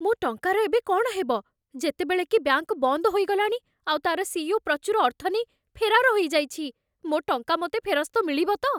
ମୋ ଟଙ୍କାର ଏବେ କ'ଣ ହେବ, ଯେତେବେଳେ କି ବ୍ୟାଙ୍କ୍ ବନ୍ଦ ହୋଇଗଲାଣି ଆଉ ତା'ର ସିଇଓ ପ୍ରଚୁର ଅର୍ଥ ନେଇ ଫେରାର ହେଇଯାଇଛି? ମୋ ଟଙ୍କା ମୋତେ ଫେରସ୍ତ ମିଳିବ ତ?